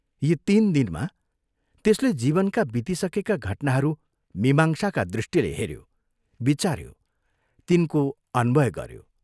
यी तीन दिनमा त्यसले जीवनका बितिसकेका घटनाहरू मीमांसाका दृष्टिले हेऱ्यो, विचाऱ्यो, तिनको अन्वय गऱ्यो।